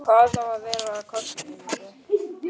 Hvað á að verða af krossinum?